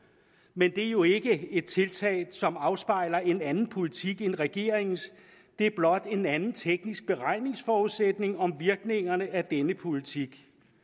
men det er jo ikke et tiltag som afspejler en anden politik end regeringens det er blot en anden teknisk beregningsforudsætning om virkningerne af denne politik